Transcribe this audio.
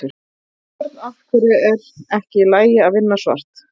Björn: Af hverju er ekki í lagi að vinna svart?